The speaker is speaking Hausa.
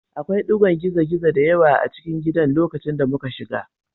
Akwai ɗigon gizo-gizo da yawa a cikin gidan lokacin da muka shiga